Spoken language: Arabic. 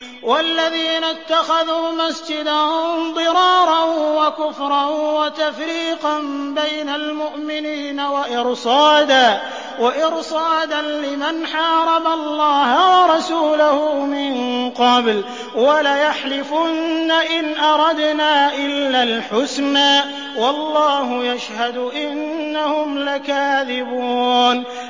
وَالَّذِينَ اتَّخَذُوا مَسْجِدًا ضِرَارًا وَكُفْرًا وَتَفْرِيقًا بَيْنَ الْمُؤْمِنِينَ وَإِرْصَادًا لِّمَنْ حَارَبَ اللَّهَ وَرَسُولَهُ مِن قَبْلُ ۚ وَلَيَحْلِفُنَّ إِنْ أَرَدْنَا إِلَّا الْحُسْنَىٰ ۖ وَاللَّهُ يَشْهَدُ إِنَّهُمْ لَكَاذِبُونَ